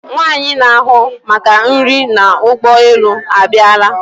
Nwaanyi na-ahụ maka nri n'ụgbọ elu a bịala.